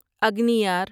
اگنیار